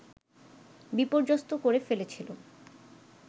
বিপর্যস্ত করে ফেলেছিল